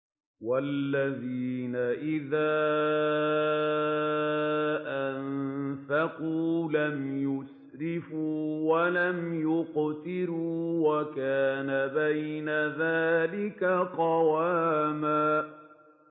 وَالَّذِينَ إِذَا أَنفَقُوا لَمْ يُسْرِفُوا وَلَمْ يَقْتُرُوا وَكَانَ بَيْنَ ذَٰلِكَ قَوَامًا